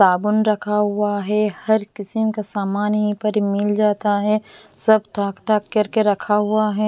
साबुन रखा हुआ है हर किस्म का सामान यहीं पर मिल जाता है सब थाक थाक करके रखा हुआ है।